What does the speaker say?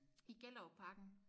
I Gellerupparken